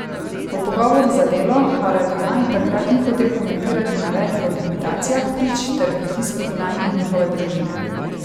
V pogovoru za Delo, Haradinaj takrat ni hotel komentirati navedb o likvidacijah prič ter pritiskih nanje in njihove družine.